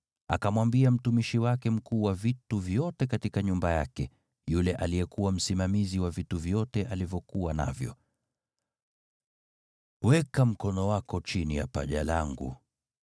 Akamwambia mtumishi wake mkuu wa vitu vyote katika nyumba yake, yule aliyekuwa msimamizi wa vitu vyote alivyokuwa navyo, “Weka mkono wako chini ya paja langu,